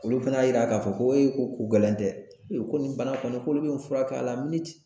Olu fana y'a yira ka fɔ ko ee ko ko gɛlɛn tɛ, e ko nin bana kɔni k'olu be fura kɛ a la